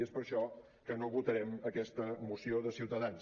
i és per això que no votarem aquesta moció de ciutadans